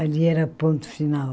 Ali era ponto final.